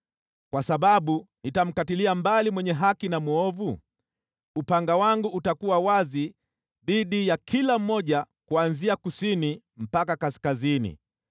Kwa sababu nitamkatilia mbali mwenye haki na mwovu, upanga wangu utakuwa wazi dhidi ya kila mmoja kuanzia kusini mpaka kaskazini.